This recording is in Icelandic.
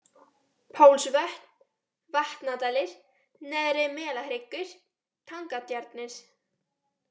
Pálsvötn, Vatnadalir, Neðri-Melahryggur, Tangatjarnir